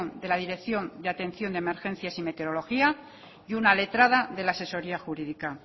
de la dirección de atención de emergencias y meteorología y una letrada de la asesoría jurídica